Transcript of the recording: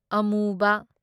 ꯑꯄꯨꯕ